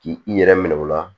K'i i yɛrɛ minɛ o la